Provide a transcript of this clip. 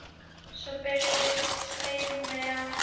Svo birtist Steini aftur.